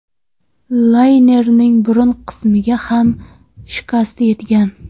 Laynerning burun qismiga ham shikast yetgan.